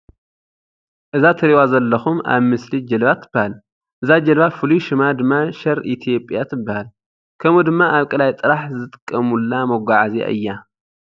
እዛ እትሪእዋ ዘለኩም ኣብ ምስሊ ጃልባ ትባሃል። እዛ ጃልባ ፉለሉይ ሽማ ድማ ሸር ኢትዮጵያ ትባሃል። ከምኡ ድማ ኣብ ቃለይ ጥራሕ ዝጥቀሙላ መጓዓዝያ እያ።